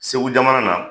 Segu jamana na